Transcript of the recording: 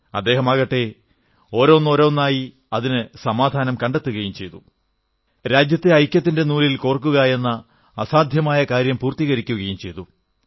അദ്ദേഹമാകട്ടെ ഓരോന്നോരോന്നായി അതിനു സമാധാനം കണ്ടെത്തുകയും രാജ്യത്തെ ഐക്യത്തിന്റെ നൂലിൽ കോർക്കുകയെന്ന അസാധ്യമായ കാര്യം പൂർത്തീകരിക്കുകയും ചെയ്തു